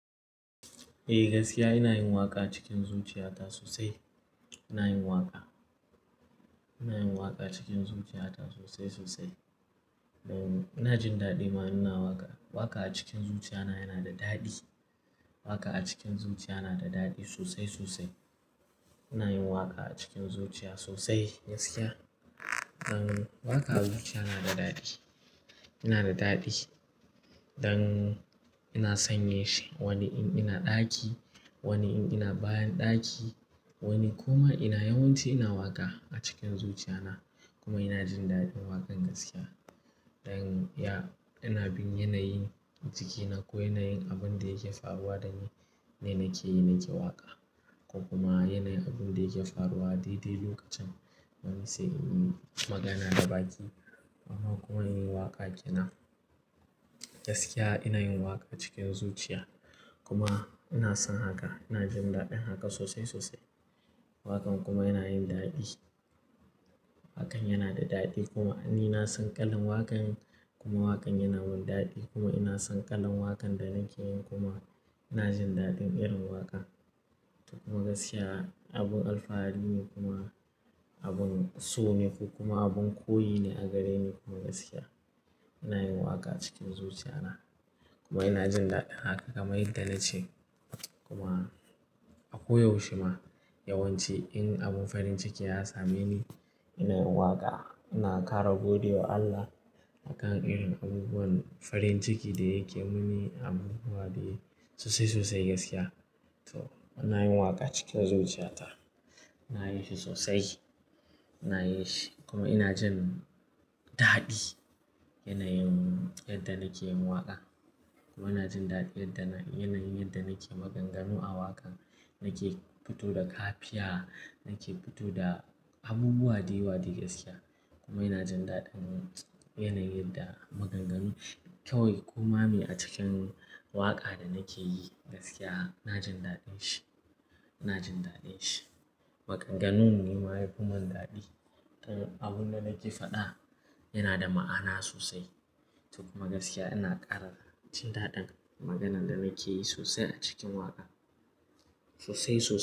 Eh gaskiya ina yin waƙa cikin zuciyata sosai. Ina yin waƙa, ina yin waƙa cikin zuciyata sosai sosai. Ina jin daɗi ma ina waƙa. Waƙa a cikin zuciya yana da daɗi. Waƙa a cikin zuciya yana da daɗi sosai sosai. Ina yin waƙa a cikin zuciya sosai gaskiya. Dan waƙa a zuciya yana da daɗi. Yana da daɗi dan ina sanye shi wani in ina ɗaki, wani in ina bayan ɗaki, wani kuma ina yawanci ina waƙa a cikin zuciya na. Kuma ina jin daɗin waƙan gaskiya. Dan ya-- ina bin yanayin jikina ko yanayin abun da yake faruwa da ni, yana ke, na ke waƙa. Ko kuma yanayin abun da yake faruwa daidai lokacin, mun sai in yi magana da baƙi. Kuma in yi waƙa ke nan. Gaskiya ina yin waƙa cikin zuciya. Kuma ina son haka, ina jin daɗin haka sosai sosai. Waƙan kuma yana yin daɗi. Waƙan yana da daɗi kuma ni na san kalan waƙan kuma waƙan yana mun daɗi kuma ina son kalan waƙan da nake yin kuma ina jin daɗin irin waƙa. Kuma gaskiya abun alfahari ne kuma abin so ne ko kuma abin koyi ne a gare ni kuma gaskiya. Ina yin waƙa cikin zuciya na kuma ina jin daɗin haka kamar yadda nace. Kuma akwai yaushe ma, yawanci in abun farin ciki ya same ni, ina yin waƙa. Ina ƙara gode wa Allah a kan irin abubuwan farin ciki da yake muni abubuwa dai sosai sosai gaskiya. To ina yin waƙa cikin zuciya ta. Ina yin shi sosai. Ina yin shi kuma ina jin daɗi yana yin yadda nake yin waƙa. Kuma ina jin daɗin yana yin yadda nake maganganu a waƙa, nake fito da kafiya, nake fito da abubuwa da yawa dai gaskiya. Kuma ina jin daɗin yana yin da maganganu kawai koma mi a cikin waƙa da nake yi gaskiya ina jin daɗin shi. Ina jin daɗin shi. Maganganu ne ma yafi man daɗi. Abun da nake faɗa yana da ma'ana sosai. Kuma gaskiya ina ƙara jin daɗin maganan da nake yi sosai a cikin waƙa. Sosai sosai.